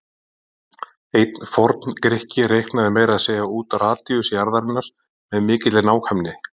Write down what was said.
Einn forn-Grikki reiknaði meira að segja út radíus jarðarinnar með mikilli nákvæmni.